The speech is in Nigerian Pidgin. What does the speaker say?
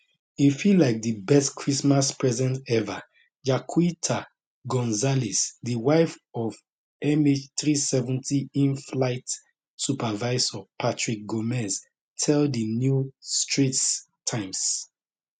e feel like di best christmas present eva jacquita gonzales di wife of mh370 inflight supervisor patrick gomes tell di new straits times